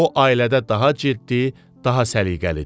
O ailədə daha ciddi, daha səliqəlidir.